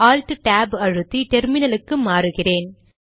alt tab அழுத்தி டெர்மினலுக்கு மாறுகிறேன்